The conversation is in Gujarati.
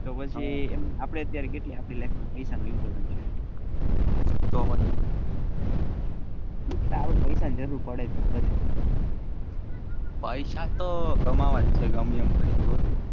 તો પછી આપડે પૈસા નું important છે તો પછી તારે પૈસા ની જરૂર પડે પૈસા તો કમાવા જ છે ગમેએમ કરીને જોવો તમે.